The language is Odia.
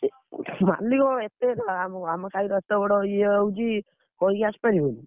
ମାଲିକ କଣ ଏତେ ଆମ ଆମ ସାହିର ଏତେ ବଡ ଇଏ ହଉଛି, କହିକି ଆସପାରିବନି?